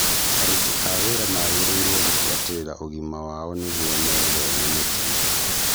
Aruti a wĩra magĩrĩirwo gũmbuatĩrĩra ũgima wao nĩguo metheme mĩtino